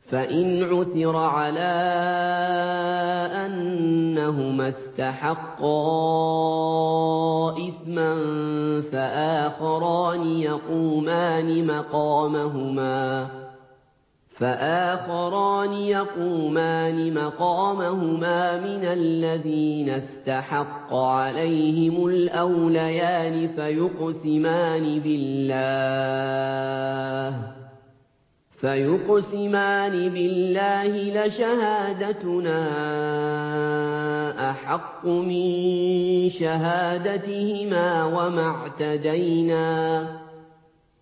فَإِنْ عُثِرَ عَلَىٰ أَنَّهُمَا اسْتَحَقَّا إِثْمًا فَآخَرَانِ يَقُومَانِ مَقَامَهُمَا مِنَ الَّذِينَ اسْتَحَقَّ عَلَيْهِمُ الْأَوْلَيَانِ فَيُقْسِمَانِ بِاللَّهِ لَشَهَادَتُنَا أَحَقُّ مِن شَهَادَتِهِمَا